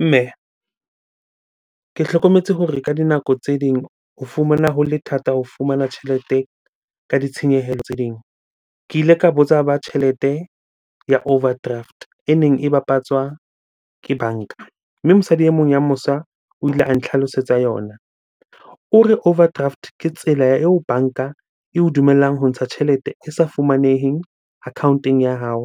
Mme, ke hlokometse hore ka dinako tse ding o fumana ho le thata ho fumana tjhelete ka ditshenyehelo tse ding. Ke ile ka botsa ba tjhelete ya overdraft e neng e bapatswa ke banka. Mme mosadi e mong ya mosa o ile a nhlalosetsa yona. O re, Overdraft ke tsela eo banka eo dumellang ho ntsha tjhelete e sa fumaneheng account-eng ya hao.